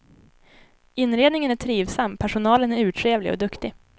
Inredningen är trivsam, personalen är urtrevlig och duktig.